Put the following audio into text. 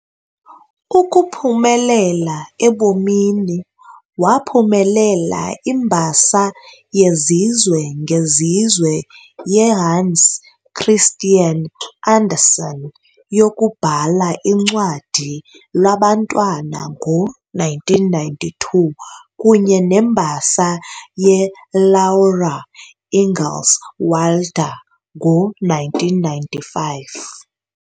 Ukuphumelela ebomini, waphumelela iMbasa yezizwe ngezizwe yeHans Christian Andersen yokubhala uncwadi lwabantwana ngo-1992 kunye neMbasa yeLaura Ingalls Wilder ngo-1995